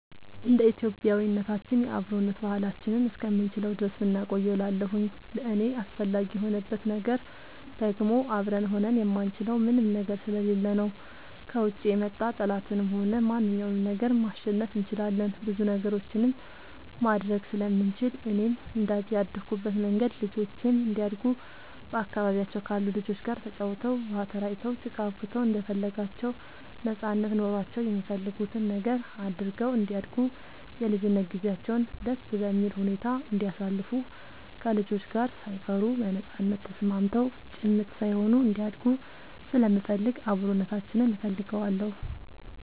እንደ ኢትዮጵያዊነታችን የአብሮነት ባህላችንን እስከምንችለው ድረስ ብናቆየው እላለሁኝ። ለእኔ አስፈላጊ የሆንበት ነገር ደግሞ አብረን ሆነን የማንችለው ምንም ነገር ስለሌለ ነው። ከውጭ የመጣ ጠላትንም ሆነ ማንኛውንም ነገር ማሸነፍ እንችላለን ብዙ ነገሮችንም ማድረግ ስለምንችል፣ እኔም እንደአደኩበት መንገድ ልጆቼም እንዲያድጉ በአካባቢያቸው ካሉ ልጆች ጋር ተጫውተው, ውሃ ተራጭተው, ጭቃ አቡክተው እንደፈለጋቸው ነጻነት ኖሯቸው የሚፈልጉትን ነገር አድርገው እንዲያድጉ የልጅነት ጊዜያቸውን ደስ በሚል ሁኔታ እንዲያሳልፉ ከልጆች ጋር ሳይፈሩ በነጻነት ተስማምተው ጭምት ሳይሆኑ እንዲያድጉ ስለምፈልግ አብሮነታችንን እፈልገዋለሁ።